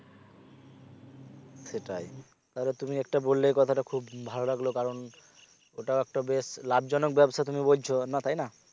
সেটাই তাহলে তুমি একটা বললে কথাটা খুব ভালো লাগলো কারণ ওটা একটা বেশ লাভজনক ব্যবসা তুমি বলছো, না তাইনা